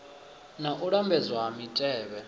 na u lambedzwa ha mitevhe